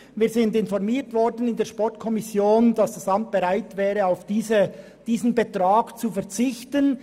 Wir wurden in der Sportkommission informiert, dass das Amt bereit wäre, auf diesen Betrag zu verzichten.